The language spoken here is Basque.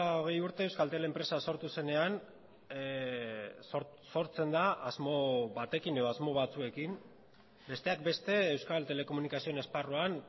hogei urte euskaltel enpresa sortu zenean sortzen da asmo batekin edo asmo batzuekin besteak beste euskal telekomunikazioen esparruan